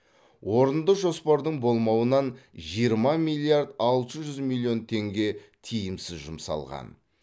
орынды жоспардың болмауынан жиырма миллиард алты жүз миллион теңге тиімсіз жұмсалған